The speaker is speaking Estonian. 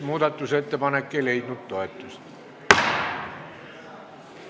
Muudatusettepanek ei leidnud toetust.